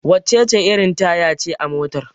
wacece irin Taya ce a motar?